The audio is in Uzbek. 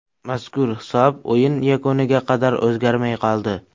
Mazkur hisob o‘yin yakuniga qadar o‘zgarmay qoldi.